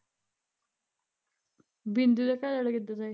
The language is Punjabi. ਬਿੰਦੂ ਦਾ ਘਰਆਲਾ ਕਿੱਦਾਂ ਦਾ ਐ